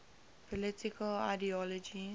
political ideologies